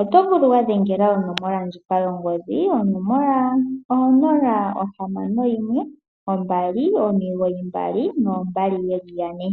oto vulu oku dhengela onomola ndjika yongodhi 0612992222.